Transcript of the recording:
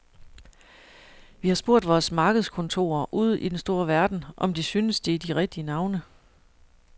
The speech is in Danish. Vi har spurgt vores markedskontorer ude i den store verden, om de synes, det er de rigtige navne.